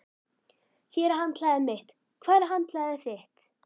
Hér er handklæðið mitt. Hvar er handklæðið þitt?